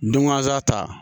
Dunwasa ta